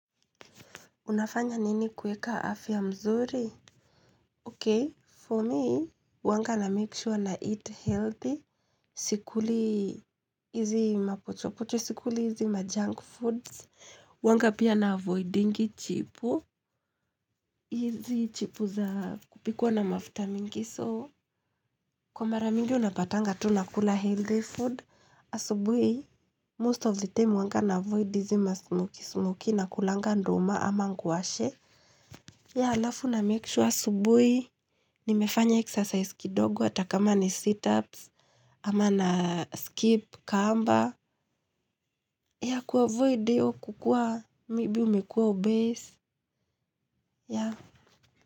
Unafanya nini kueka afya mzuri? Ok, for me, uwanga na make sure na eat healthy. Sikuli, hizi mapochopocho, sikuli hizi majunk foods. Uwangapia na avoidingi chipu. Hizi chipu za kupikwa na mafuta mingi. So, kwa mara mingi unapatanga tu nakula healthy food. Asubui, most of the time uwanga na avoid hizi ma smokey smokey nakulanga ndoma ama ngwashe. Ya alafu na make sure asubui, nimefanya exercise kidogo hata kama ni sit-ups, ama na skip kamba, ya kuavoidio kukua, maybe umekua obese, ya.